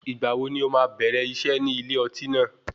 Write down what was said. Ìgbà wo ni ó máa bẹ̀rẹ̀ iṣẹ́ ní ilé ọtí náà?